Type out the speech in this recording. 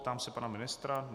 Ptám se pana ministra.